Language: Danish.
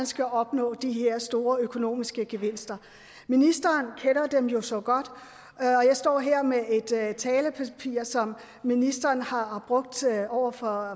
skal opnå de her store økonomiske gevinster ministeren kender dem jo så godt jeg står her med et talepapir som ministeren har brugt over for